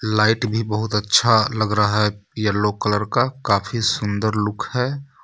Light भी बहुत अच्छा लग रहा है येलो कलर का काफ़ी सुन्दर लुक है.